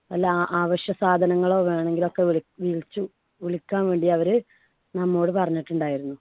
വല്ല ആ അവശ്യ സാധനങ്ങളൊക്കെ വേണോങ്കിലൊക്കെ വിളി വിളിച്ചു വിളിക്കാൻ വേണ്ടി അവരു നമ്മോട് പറഞ്ഞിട്ടുണ്ടായിരുന്നു.